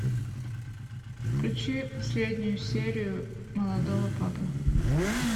включи последнюю серию молодого папы